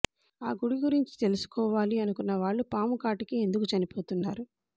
ఆ గుడి గురించి తెలుసుకోవాలి అనుకున్న వాళ్ళు పాము కాటుకే ఎందుకు చనిపోతున్నారు